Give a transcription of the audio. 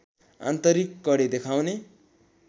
आन्तरिक कडी देखाउने